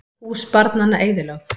Hús barnanna eyðilögð